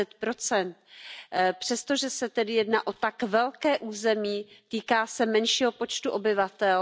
20 Přesto, že se tedy jedná o tak velké území, týká se menšího počtu obyvatel.